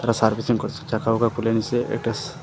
servicing করসে চাকা ওয়কা খুলে নিসে এটাস--